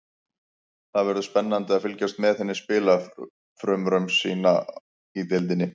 Það verður spennandi að fylgjast með henni spila frumraun sína í deildinni.